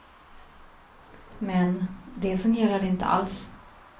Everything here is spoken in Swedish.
Men, det fungerade inte alls.